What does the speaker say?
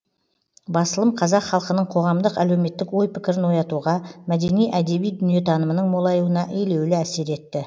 басылым қазақ халқының қоғамдық әлеуметтік ой пікірін оятуға мәдени әдеби дүниетанымының молаюына елеулі әсер етті